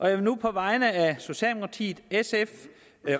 jeg vil nu på vegne af socialdemokratiet sf